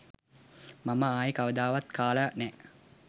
මම ආයේ කවදාවත් කාලා නෑ